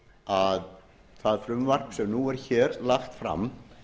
að það frumvarp sem nú er hér lagt fram